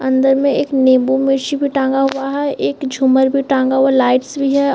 अंदर में एक नींबूमिर्ची भी टांगा हुआ है एक झूमर भी टांगा हुआ लाइट्स भी हैं।